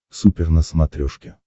супер на смотрешке